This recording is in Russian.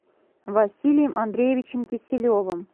василием андреевичем киселевым